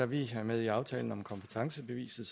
vi er med i aftalen om kompetencebeviset